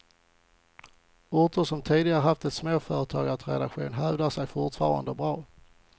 Orter som tidigare haft en småföretagartradition hävdar sig fortfarande bra.